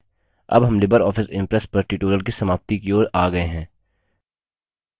अब हम libre office impress पर tutorial की समाप्ति की ओर आ गए हैं